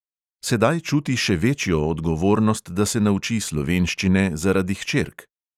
Sedaj čuti še večjo odgovornost, da se nauči slovenščine zaradi hčerk.